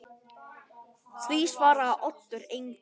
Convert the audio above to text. Því svaraði Oddur engu.